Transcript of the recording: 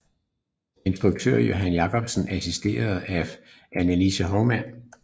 Instruktion Johan Jacobsen assisteret af Annelise Hovmand